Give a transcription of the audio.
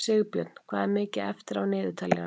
Sigbjörn, hvað er mikið eftir af niðurteljaranum?